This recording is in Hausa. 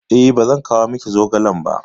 E, ba zan kawo miki zogalen ba.